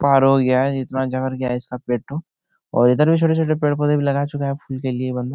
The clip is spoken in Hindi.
पार हो गया है ये इतना और इधर भी छोटे-छोटे पेड़-पौधे भी लगा चुके है फूल के लिए